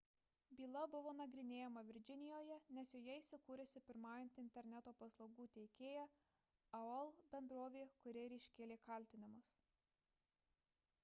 byla buvo nagrinėjama virdžinijoje nes joje įsikūrusi pirmaujanti interneto paslaugų teikėja aol – bendrovė kuri ir iškėlė kaltinimus